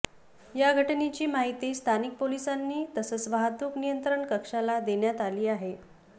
या घटनेची माहिती स्थानिक पोलिसांना तसंच वाहतूक नियंत्रण कक्षाला देण्यात आली आहे